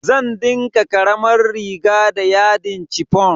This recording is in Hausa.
Zan dinka karamar riga da yadin chiffon.